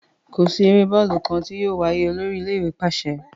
Ko si ere bọọlu kan ti yóò waye, olori ile-iwe paṣẹ!